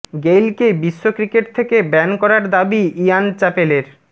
গেইলকে বিশ্ব ক্রিকেট থেকে ব্যান করার দাবি ইয়ান চ্যাপেলের